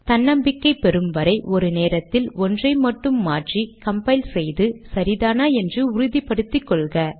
தன்னம்பிக்கை பெறும் வரை ஒரு நேரத்தில் ஒன்றை மட்டும் மாற்றி கம்பைல் செய்து சரிதானா என்று உறுதி படுத்திக்கொள்க